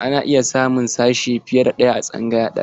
Ana iya samun sashe fiye da ɗaya a tsangaya ɗaya.